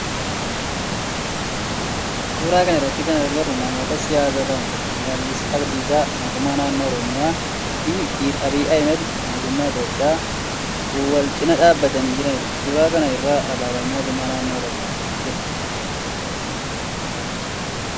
Suuraa kana irratti kan agarru namoota siyaasaa lama Shimallis Abdiisaa mootummaa naannoo oromiyaa fi Dr. Abiyyi Ahimeed mootummaa Itiyoophiyaa wal cinaa dhaabbatanii jiranidha. Suuraa kana irra alaabaan mootummaa naannoo oromiyaa jira.